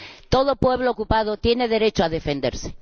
todo pueblo ocupado tiene derecho a defenderse.